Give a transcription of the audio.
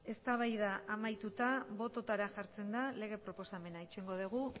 eztabaida amaituta bototara jartzen da lege proposamena itxarongo dugu